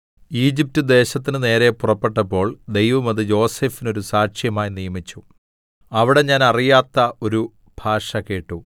Egypt ദേശത്തിന് നേരെ പുറപ്പെട്ടപ്പോൾ ദൈവം അത് യോസേഫിന് ഒരു സാക്ഷ്യമായി നിയമിച്ചു അവിടെ ഞാൻ അറിയാത്ത ഒരു ഭാഷ കേട്ടു